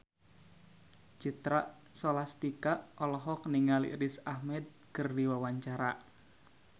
Citra Scholastika olohok ningali Riz Ahmed keur diwawancara